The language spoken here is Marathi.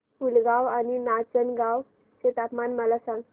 पुलगांव आणि नाचनगांव चे तापमान मला सांग